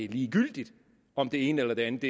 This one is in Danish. ligegyldigt om det ene eller det andet